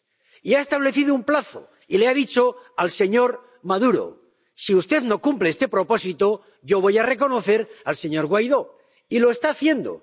Y ha establecido un plazo y le ha dicho al señor Maduro si usted no cumple este propósito, yo voy a reconocer al señor Guaidó, y lo está haciendo.